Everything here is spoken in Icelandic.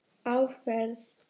Á ferð